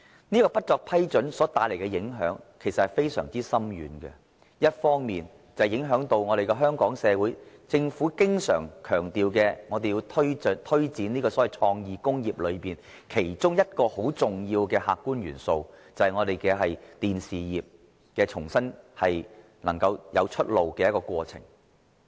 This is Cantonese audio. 此舉所帶來的影響其實非常深遠，一方面影響到香港政府經常強調，香港社會要推展所謂創意工業裏中一個很重要的客觀元素，就是重新讓電視業能夠有新出路。